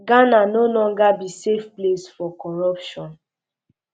ghana no longer be safe place for um corruption